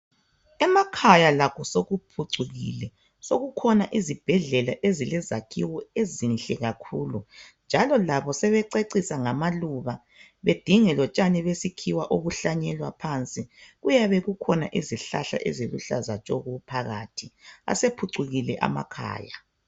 Emakhaya lakho sokuphucukile sokukhona izibhedlela ezilezakhiwo ezinhle kakhulu njalo labo sebececisa ngamaluba bedinge lotshani besikhiwa obuhlanyelwa phansi. Kuyabe kukhona izihlahla eziluhlaza tshoko phakathi. Asephucukile amakhaya.